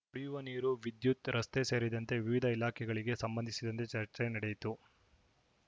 ಕುಡಿಯುವ ನೀರು ವಿದ್ಯುತ್‌ ರಸ್ತೆ ಸೇರಿದಂತೆ ವಿವಿಧ ಇಲಾಖೆಗಳಿಗೆ ಸಂಬಂಧಿಸಿದಂತೆ ಚರ್ಚೆ ನಡೆಯಿತು